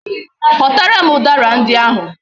Ghotaram udara ndi ahu!